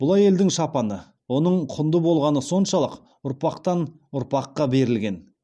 бұл әйелдің шапаны оның құнды болғаны соншалық ұрпақтан ұрпаққа берілген